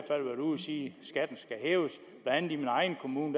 sige skatten skal hæves i min egen kommune